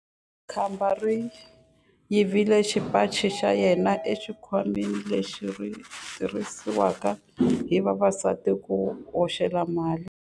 Khamba ri yivile xipaci xa yena exikhwameni lexi xi tirhisiwaka hi vavasati ku hoxela mali.